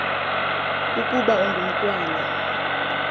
ukaba ungu mntwana